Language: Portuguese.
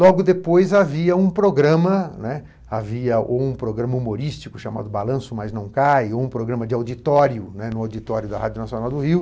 Logo depois, havia um programa, né, havia um programa humorístico chamado Balanço, mas não cai, um programa de auditório, né, no auditório da Rádio Nacional do Rio,